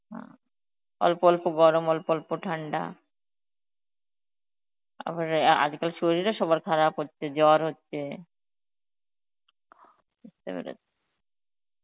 অঃ অল্প অল্প গরম, অল্প অল্প ঠান্ডা. তারপরে আজকাল শরীরও সবার খারাপ হচ্ছে জ্বর হচ্ছে, বুঝতে পেরেছি.